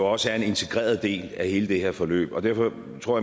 også er en integreret del af hele det her forløb og derfor tror